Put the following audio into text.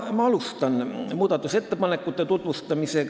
Nüüd alustan muudatusettepanekute tutvustamist.